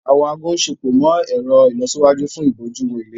Awọn aago ṣepọ imọ-ẹrọ ìlọsíwájú fún ibojuwo ìlera.